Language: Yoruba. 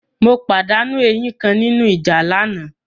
Mo pàdánù eyín kan nínú ìjà lánàá.